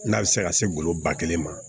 N'a bɛ se ka se golo ba kelen ma